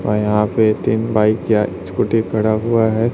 औ यहां पे तीन बाइक या स्कूटी खड़ा हुआ है।